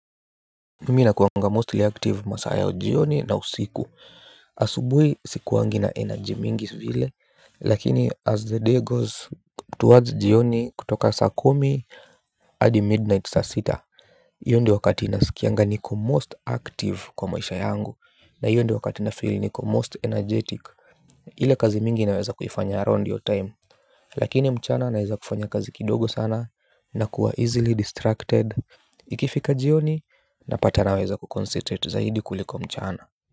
Mimi nakuanga mostly active masaa jioni na usiku. Asubui sikuangi na energy mingi vile. Lakini as the day goes towards jioni kutoka saa kumi adi midnight saa sita io ndo wakati nasikianga niko most active kwa maisha yangu. Na io ndo wakati nafeel niko most energetic. Ile kazi mingi naweza kufianya around io time. Lakini mchana naweza kufanya kazi kidogo sana. Nakuwa easily distracted. Ikifika jioni napata naweza kukoncentrate zaidi kuliko mchana.